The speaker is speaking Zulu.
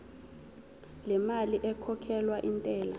lemali ekhokhelwa intela